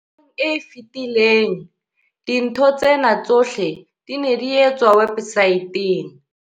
Nakong e fetileng, dintho tsena tsohle di ne di etswa websaeteng.